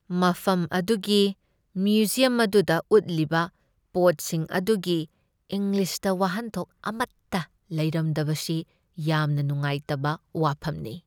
ꯃꯐꯝ ꯑꯗꯨꯒꯤ ꯃ꯭ꯌꯨꯖꯤꯌꯝ ꯑꯗꯨꯗ ꯎꯠꯂꯤꯕ ꯄꯣꯠꯁꯤꯡ ꯑꯗꯨꯒꯤ ꯏꯪꯂꯤꯁꯇ ꯋꯥꯍꯟꯊꯣꯛ ꯑꯃꯠꯇ ꯂꯩꯔꯝꯗꯕꯁꯤ ꯌꯥꯝꯅ ꯅꯨꯉꯥꯏꯇꯕ ꯋꯥꯐꯝꯅꯤ ꯫